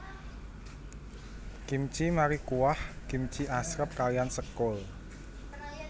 Kimchi mari kuah kimchi asrep kaliyan sekul